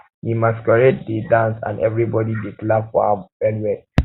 di um masquerade dey dance and everybody dey clap for am well well